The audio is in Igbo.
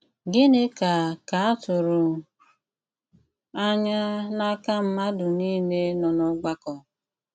Gịnị́ ká ká à tụrụ́ ànyà n’ákà mmádụ́ nìlé nọ n’ọ́gbàkọ́?